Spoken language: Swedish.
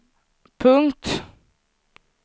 punkt